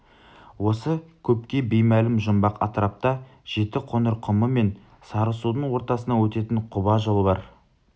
осы көпке беймәлім жұмбақ атырапта жетіқоңыр құмы мен сарысудың ортасынан өтетін қоба жол бар